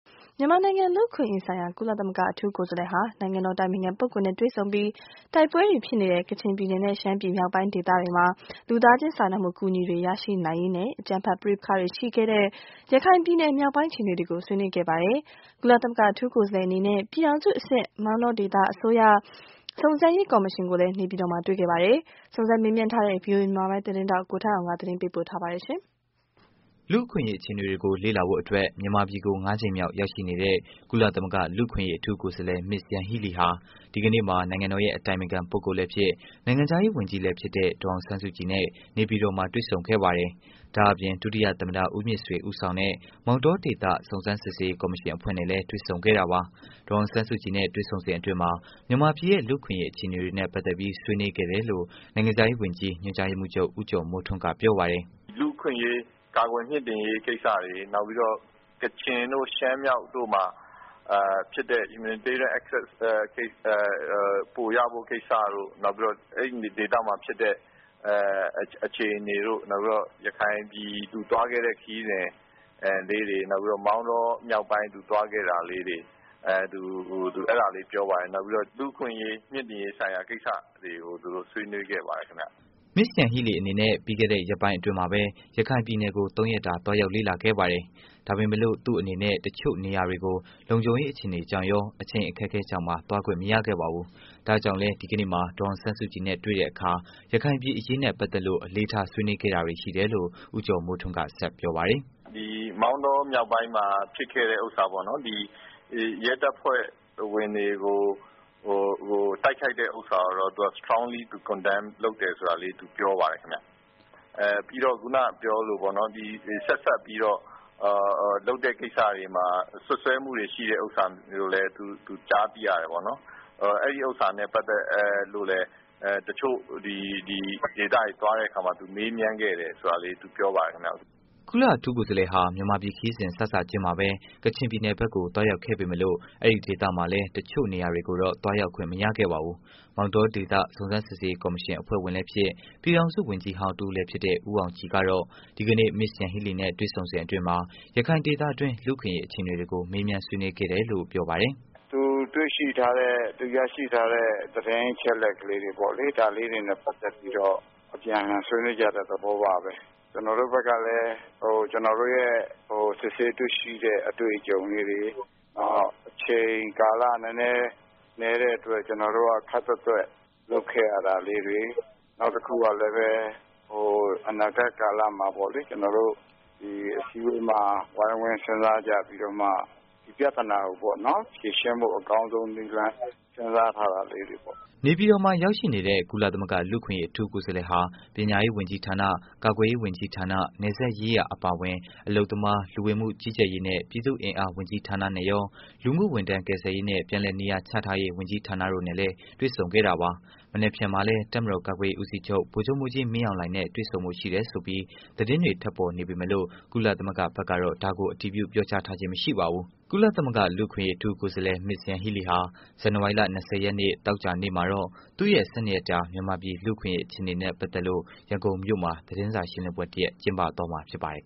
မြန်မာနိုင်ငံလူ့အခွင့်အရေးဆိုင်ရာ ကုလသမဂ္ဂအထူးကိုယ်စားလှယ် ဟာ နိုင်ငံတော်အတိုင်ပင်ခံပုဂ္ဂိုလ်နဲ့တွေ့ဆုံပြီး တိုက်ပွဲတွေဖြစ်နေတဲ့ ကချင်ပြည်နယ်နဲ့ ရှမ်းပြည်မြောက်ပိုင်းဒေသမှာ လူသားချင်းစာနာမှုအကူအညီတွေ ရရှိနိုင်ရေးနဲ့၊ အကြမ်းဖက်ပဋိပက္ခတွေရှိခဲ့တဲ့ ရခိုင်ပြည်နယ်မြောက်ပိုင်းအခြေအနေတွေကို ဆွေးနွေးခဲ့ပါတယ်။ ကုလသမဂ္ဂ အထူးကိုယ်စားလှယ်အနေနဲ့ ပြည်ထောင်စုအဆင့် မောင်တောဒေသ အစိုးရစုံစမ်းရေးကော်မရှင်ကိုလည်း နေပြည်တော်မှာ တွေ့ခဲ့ပါတယ်။ စုံစမ်းမေးမြန်းထားတဲ့ ဗွီအိုအေ သတင်းထောက် ကိုထက်အောင် သတင်းပေးပို့ထားပါတယ်။ လူ့အခွင့်အရေး အခြေအနေတွေကို လေ့လာဖို့အတွက်မြန်မာပြည်ကို ၅ ကြိမ်မြောက် ရောက်ရှိနေတဲ့ ကုလသမဂ္ဂ လူ့အခွင့်အရေး အထူးကိုယ်စားလှယ် Ms.Yanghee Lee ဟာ ဒီကနေ့မှာ နိုင်ငံတော်ရဲ့ အတိုင်ပင်ခံ ပိုဂ္ဂိုလ်လည်းဖြစ် နိုင်ငံခြားရေး ဝန်ကြီးလည်းဖြစ်တဲ့ ဒေါ်အောင်ဆန်းစုကြည်နဲ့ နေပြည်တော်မှာ တွေ့ဆုံခဲ့တာပါ။ ဒါ့အပြင် ဒုတိယ သမ္မတ ဦးမြင့်ဆွေ ဦးဆောင်တဲ့ မောင်တောဒေသစုံစမ်းစစ်ဆေးရေး ကော်မရှင် အဖွဲ့နဲ့လည်း တွေ့ဆုံခဲ့ပါတယ်။ ဒေါ်အောင်ဆန်းစုကြည်နဲ့ တွေ့ဆုံစဉ်အတွင်း မြန်မာပြည်ရဲ့ လူ့အခွင့်အရေး အခြေအနေတွေနဲ့ ပတ်သတ်ပြီး ဆွေးနွေးခဲ့တယ်လို့ နိုင်ငံခြားရေး ဝန်ကြီး ညွှန်ကြားရေးမှုးချုပ် ဦးကျော်မိုးထွန်းက ပြောပါတယ်။ “လူ့အခွင့်အရေး ကာကွယ်မြှင့်တင်ရေးကိစ္စ ၊ နောက်ပြီးတော့ ကချင်တို့ ရှမ်းမြောက်တို့မှာဖြစ်တဲ့ Humanitarian access ပိုရဖို့ ကိစ္စတို့ နောက်ပြီးတော့ အဲဒီဒေသမှာဖြစ်တဲ့ အခြေအနေတို့ နောက်ပြီးတော့ ရခိုင်ပြည်သူသွားခဲ့တဲ့ ခရီးစဉ် နောက်ပြီးတော့ မောင်တောမြောက်ပိုင်းသူသွားခဲ့တာ လေးတွေ သူအဲဒါတွေ ပြောပါတယ်။ နောက်ပြီးတော့ လူ့အခွင့်အရေးမြင့်တင်ရေးကိစ္စတွေကို ဆွေးနွေးခဲ့ပါတယ်ခင်ဗျ။” Ms.YangHee Lee အနေနဲ့ ပြီးခဲ့တဲ့ ရက်ပိုင်းအတွင်းမှာပဲ ရခိုင်ပြည်နယ်ကို ၃ ရက်တာ သွားရောက်လေ့လာခဲ့ပါတယ်။ ဒါပေမဲ့လို့ သူ့အနေနဲ့ တချို့နေရာတွေကို လုံခြုံရေးအခြေအနေကြောင့်ရော အချိန်အခက်အခဲကြောင့်ပါ သွားခွင့်မရခဲ့ပါဘူး။ဒီကနေ့ ဒေါ်အောင်ဆန်းစုကြည်နဲ့ တွေ့တဲ့အခါမှာလည်း ရခိုင်ပြည်အရေးနဲ့ ပက်သတ်လို့ အလေးထား ဆွေးနွေးခဲ့တာတွေ ရှိတယ်လို့ ဦးကျော်မိုးထွန်းက ဆက်ပြောပါတယ်။ “ မောင်တောမြောက်ပိုင်းမှာ ဖြစ်ခဲ့တဲ့ဟာပေါ့နော် ၊ ရဲတပ်ဖွဲ့ဝင်တွေကို တိုက်ခိုက်တဲ့ဟာကိုတော့ သူက Strongly condemn လုပ်တယ်ဆိုတာလေး ပြောပါတယ်ခင်ဗျ။ နောက်ပြီးတော့ ခုနက ပြောသလိုပဲပေါ့နော် ဆက်စပ်ပြီးတော့ လုပ်တဲ့ကိစ္စတွေမှာ စွပ်စွဲမှုတွေရှိတဲ့ဟာကိုလည်း သူကြားသိရတယ်ပေါ့နော်။ အဲဒါနဲ့ ပတ်သက်ပြီးတော့ တချို့ဒေသတွေသွားတဲ့အခါမှာ သူမေးမြန်းခဲ့တယ်ဆိုတာလေး သူပြောပါတယ်ခင်ဗျ။” ကုလအထူးကိုယ်စားလှယ်ဟာ မြန်မာပြည် ခရီးစဉ် စစချင်းမှာပဲ ကချင်ပြည်နယ်ဘက်ကို သွားရောက်ခဲ့ပေမယ့်လို့ အဲဒီ့ဒေသမှာလည်း တစ်ချို့နေရာတွေကို သွားခွင့်မရခဲ့ပါဘူး။မောင်တောဒေသ စုံစမ်းစစ်ဆေးရေး ကော်မရှင် အဖွဲ့ဝင် ပြည်ထောင်စု ဝန်ကြီးဟောင်း ဦးအောင်ကြည်ကတော့ ဒီကနေ့ Ms.Yanghee Lee နဲ့ တွေ့ဆုံစဉ်အတွင်း ရခိုင်ဒေသတွင်း လူ့အခွင့်အရေးအခြေအနေ ကို မေးမြန်းဆွေးနွေးခဲ့တယ်လို့ ပြောပါတယ်။ “သူတွေ့ရှိထားတဲ့ ရရှိထားတဲ့ သတင်းအချက်အလက်လေးတွေပေါ့လေ ဒါလေးတွေနဲ့ ပတ်သက်ပြီးတော့ အပြန်အလှန်ဆွေးနွေးကြတဲ့ သဘောပါပဲ။ ကျနော်တို့ဘက်ကလည်း ကျနော်တို့ရဲ့ စစ်ဆေးတွေ့ရှိတဲ့ အတွေ့အကြုံလေးတွေ နောက်ပြီးတော့ အချိန်ကာလနည်းတဲ့အတွက် ကျနော်တို့က ခပ်သွက်သွက်လုပ်ခဲ့ရတာတွေ နောက်တခုကလည်း အနာဂတ်ကာလမှာပေါ့လေ ၊ ဒီအစည်းအဝေးမှာ ဝိုင်းဝန်းစဉ်းစားကြပြီးတော့မှ ဒီပြဿနာကို ဖြေရှင်းဖို့ အကောင်းဆုံးနည်းလမ်း စဉ်းစားထားတာလေးတွေပေါ့။” နေပြည်တော်မှာရောက်နေတဲ့ ကုလအထူးကိုယ်စားလှယ်ဟာ ပညာရေး ဝန်ကြီးဌာန၊ ကာကွယ်ရေး ဝန်ကြီးဌာန၊ နယ်စပ်ရေးရာအပါအဝင် အလုပ်သမား လူဝင်မှုကြီးကြပ်ရေးနဲ့ ပြည်သူ့အင်အားဝန်ကြီးဌာနနဲ့ကော လူမှုဝန်ထမ်းကယ်ဆယ်ရေးနဲ့ ပြန်လည်နေရာချထားရေး ဝန်ကြီးဌာနတို့နဲ့လည်း တွေ့ဆုံခဲ့တာပါ။ မနက်ဖြန်မှာလည်း တပ်မတော်ကာကွယ်ရေး ဦးစီးချုပ် ဗီုလ်ချုပ်မှုးကြီး မင်းအောင်လှိုင်နဲ့ တွေ့ဆုံဖို့ရှိတယ်ဆိုပြီးလည်း သတင်းတွေ ထွက်ပေါ်နေပေမယ့်လို့ ကုလသမဂ္ဂဘက်ကတော့ ဒါကို အတည်ပြုမပြောကြားသေးပါဘူး။ ကုလသမ္မဂ္ဂ လူ့အခွင့်အရေး အထူးကိုယ်စားလှယ်ဟာ ဇန်နဝါရီလ ၂၀ ရက်နေ့ သောကြာနေ့မှာတော့ သူ့ရဲ့ ၁၂ ရက်တာ မြန်မာပြည် လူ့အခွင့်အရေး အခြေအနေနဲ့ ပက်သတ်လို့ ရန်ကုန်မြို့မှာ သတင်းစာရှင်းလင်းပွဲတစ်ရပ် ကျင်းပမှာဖြစ်ပါတယ်